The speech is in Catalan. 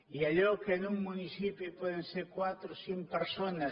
i allò que en un municipi poden ser quatre o cinc persones